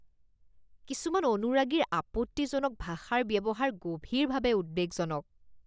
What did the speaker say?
কিছুমান অনুৰাগীৰ আপত্তিজনক ভাষাৰ ব্যৱহাৰ গভীৰভাৱে উদ্বেগজনক